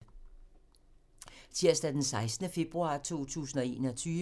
Tirsdag d. 16. februar 2021